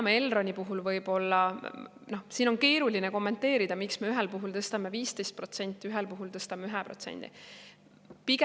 Elroni puhul võib-olla on keeruline kommenteerida, miks me ühel puhul tõstame 15%, puhul tõstame 1%.